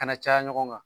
Kana caya ɲɔgɔn kan